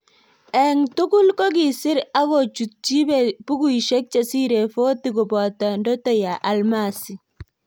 eng tugul kogisir ak kochutyi bukuisyek chesire 40 kopato Ndoto ya almasi